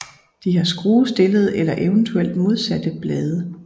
De har skruestillede eller eventuelt modsatte blade